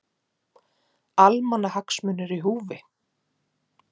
Almannahagsmunir í húfi